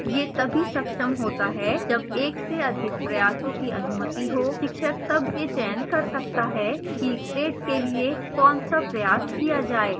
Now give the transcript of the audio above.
यह the सक्षम होता है जब एक से अधिक प्रयासों की अनुमति हो शिक्षक तब यह चयन कर सकता है कि grade के लिए कौनसा प्रयास किया जाए